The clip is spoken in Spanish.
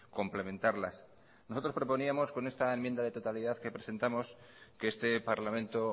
complementarlas nosotros proponíamos con esta enmienda de totalidad que presentamos que este parlamento